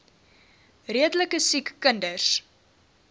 redelike siek kinders